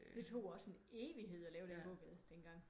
Det tog også en evighed at lave den gågade den gang